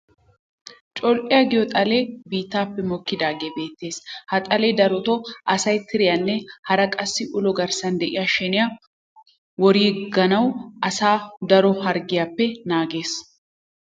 Col'iya giyoo xalee biittaappe mokkidaagee beettees. Ha xalee darotoo asay tiriyanne hara qassi ulo garssan de'iya sheniya woriyoogan asaa daro harggiyaappe naagees.